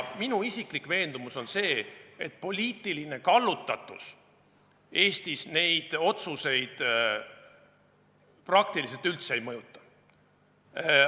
Minu isiklik veendumus on see, et poliitiline kallutatus Eestis neid otsuseid peaaegu üldse ei mõjuta.